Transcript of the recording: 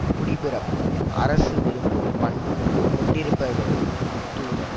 குடிப்பிறப்பும் அரசு விரும்பும் பண்பும் கொண்டிருப்பவரே தூதர்